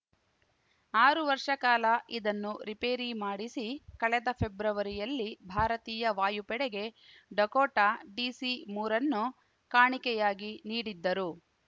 ಆರು ವರ್ಷ ಕಾಲ ಇದನ್ನು ರಿಪೇರಿ ಮಾಡಿಸಿ ಕಳೆದ ಫೆಬ್ರವರಿಯಲ್ಲಿ ಭಾರತೀಯ ವಾಯುಪಡೆಗೆ ಡಕೋಟಾ ಡಿಸಿಮೂರನ್ನು ಕಾಣಿಕೆಯಾಗಿ ನೀಡಿದ್ದರು